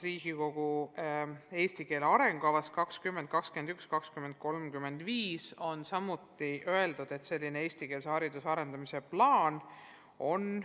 Eesti keele arengukavas 2021–2035 on öeldud, et on vaja koostada ka eestikeelse hariduse arendamise plaan.